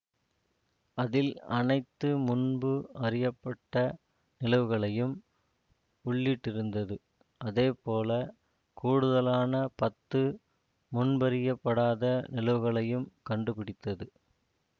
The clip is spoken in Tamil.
அதில் அனைத்து முன்பு அறியப்பட்ட நிலவுகளையும் உள்ளிட்டிருந்தது அதே போல கூடுதலான பத்து முன்பறியப்படாத நிலவுகளையும் கண்டு பிடித்தது